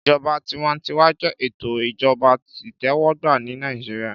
Ìjọba tiwantiwa jẹ́ ètò Ìjọba itẹwọgba ni Naijiria